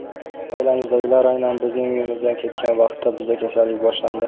Oilamizdagilar aynan bizning uyimizdan ketgan vaqtda bizda kasallik boshlandi.